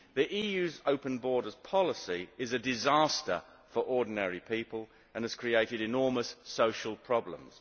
The EU's open borders policy is a disaster for ordinary people, and has created enormous social problems.